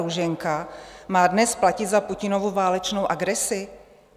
Růženka, má dnes platit za Putinovu válečnou agresi?